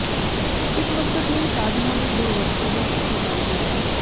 ਇਸ ਮਕਸਦ ਲਈ ਸਾਧਨਾਂ ਦੀ ਦੁਰਵਰਤੋਂ ਵੀ ਕੀਤੀ ਜਾ ਰਹੀ ਹੈ